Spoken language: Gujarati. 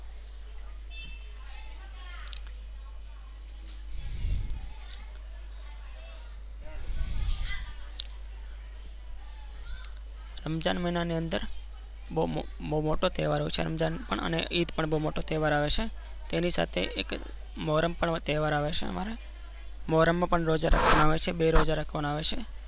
રંજન મહિના ની અંદર બાઉ મોટો તહેવાર હોય છે રમઝાન અને ઈદ પણ બાઉ મોટો તહેવાર આવે છે. તેની સાથે એક મહોરમ પણ તહેવાર આવે છે. અમારે મહોરમ માં પણ રોઝા રાખવા ના આવે છે બે રોઝા રાખવા ના આવે છે.